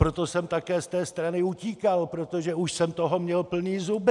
Proto jsem také z té strany utíkal, protože už jsem toho měl plné zuby!